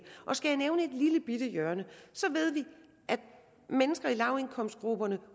skal jeg nævne et lillebitte hjørne så ved vi at mennesker i lavindkomstgrupperne